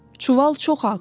Çuval çox ağırdı.